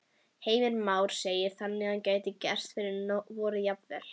Heimir Már: Þannig að það gæti gerst fyrir vorið jafnvel?